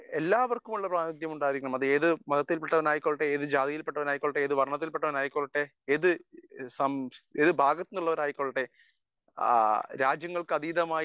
speaker 1 എല്ലാവർക്കുമുള്ള പ്രാതിനിധ്യം ഉണ്ടായിരിക്കണം അത് ഏത് മതത്തിൽപ്പെട്ടവൻ ആയിക്കോട്ടെ ഏത് ജാതിയിൽ പെട്ടവൻ ആയിക്കോട്ടെ ഏത് വർണ്ണത്തിൽ പെട്ടവൻ ആയിക്കോട്ടെ ഏത് ഭാഗത്തു നിന്ന് ഉള്ളവർ ആയിക്കൊള്ളട്ടെ ആ രാജ്യങ്ങൾക്ക് അതീതമായി